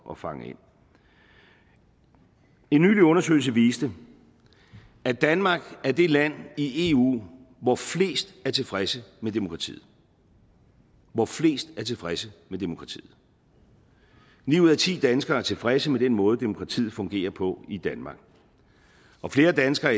at fange ind en nylig undersøgelse viste at danmark er det land i eu hvor flest er tilfredse med demokratiet hvor flest er tilfredse med demokratiet nu ud af ti danskere er tilfredse med den måde demokratiet fungerer på i danmark og flere danskere